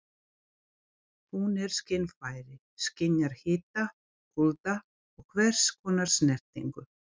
Hún er skynfæri- skynjar hita, kulda og hvers konar snertingu.